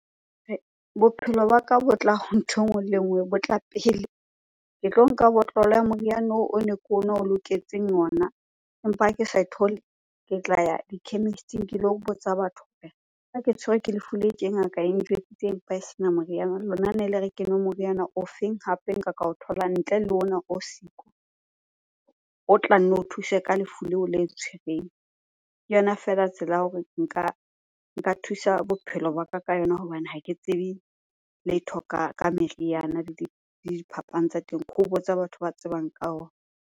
Bophelo ba ka bo tla ho nthwe e nngwe le e nngwe, bo tla pele. Ke tlo nka botlolo ya moriana oo o ne ke o nwa o loketseng ona empa ha ke ke tla ya di-chemist-ing ke lo botsa batho . Ha ke tshwere ke lefu le tje ngaka e ntjwetsitse empa e sena moriana, lona nele re ke nwe moriana ofeng? Hape e nka ka o thola ntle le ona o siko o tla nne o thuse ka lefu leo le ntshwereng. Ke yona feela tsela ya hore nka thusa bophelo ba ka ka yona hobane ha ke tsebe letho ka meriana le diphapang tsa teng. Ke ho botsa batho ba tsebang ka ona.